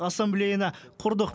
ассамблеяны құрдық